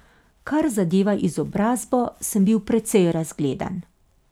Kar zadeva izobrazbo, sem bil precej razgledan.